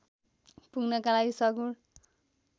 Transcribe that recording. पुग्नका लागि सगुण